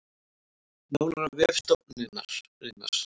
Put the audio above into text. Nánar á vef stofnunarinnar